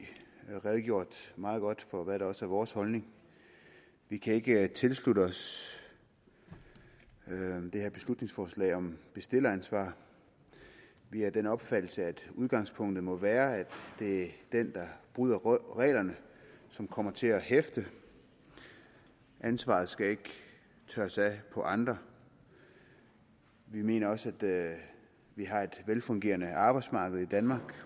redegjort meget godt for hvad der også er vores holdning vi kan ikke tilslutte os det her beslutningsforslag om bestilleransvar vi er af den opfattelse at udgangspunktet må være at den der bryder reglerne kommer til at hæfte ansvaret skal ikke tørres af på andre vi mener også at vi har et velfungerende arbejdsmarked i danmark